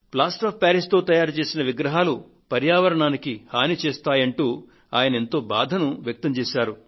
plaster of ప్యారిస్తో తయారుచేసిన విగ్రహాలు పర్యావరణానికి హాని చేస్తాయి అంటూ ఆయన ఎంతో వేదనను వ్యక్తం చేశారు